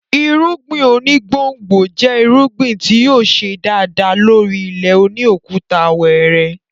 Irúngbìn oní gbòngbò jẹ́ irúgbìn tí yóò ṣe dáadáa lórí ilẹ̀ òní òkúta wẹrẹ